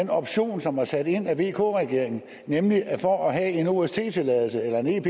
den option som var sat ind af vk regeringen nemlig at for at have en ost tilladelse eller en ep